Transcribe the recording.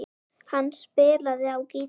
Hann spilaði á gítar.